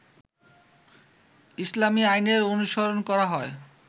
ইসলামী আইনের অনুসরণ করা হয়